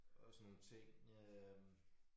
Og sådan nogle ting øh